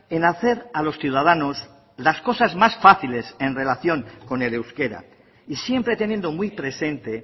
en hacer a los ciudadanos las cosas más fáciles en relación con el euskera y siempre teniendo muy presente